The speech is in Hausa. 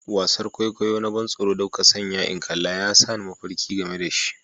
Wasar kwaikwayo na ban tsoron da kuka sanya in kalla ya sa ni mafarki ga me da shi.